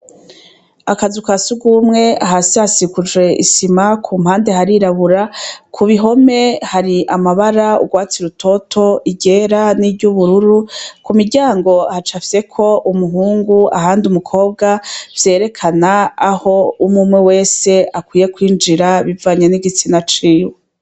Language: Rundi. Akazu ka surwumwe hasi hasikuje isima ku mpande harirabura, ku bihome hari amabara urwatsi rutoto, iryera n'iry'ubururu, ku miryango hacafyeko umuhungu ahandi umukobwa, vyerekana aho umwumwe wese akwiye kwinjira bivanye n'igitsina ciwe.